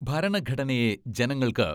ഭരണഘടനയെ ജനങ്ങൾക്ക്